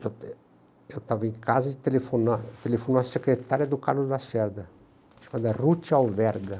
Eu eu estava em casa e telefonou telefonou a secretária do Carlos Lacerda, chamada Ruth Alverga.